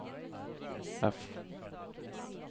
F